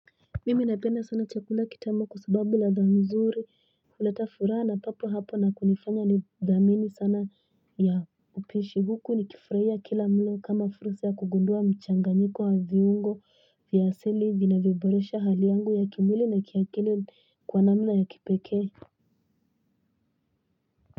Mimi napenda sana chakula kitamu kwa sababu ladha nzuri huleta furaha na papo hapo na kunifanya ni dhamini sana ya upishi huku ni kifuraia kila mlo kama fursa ya kugundua mchanga nyiko wa viungo vya asili vinavyoboresha hali yangu ya kimwili na kiakili kwa namna ya kipekee.